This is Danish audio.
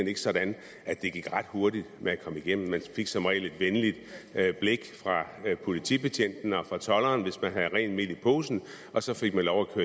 ikke sådan at det gik ret hurtigt med at komme igennem man fik som regel et venligt blik fra politibetjenten og fra tolderen hvis man havde rent mel i posen og så fik man lov